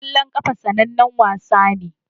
Kwallon kafa sanannen wasa ne.